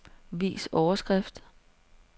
Vis overskrift.